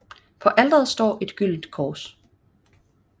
På alteret står et stort gyldent kors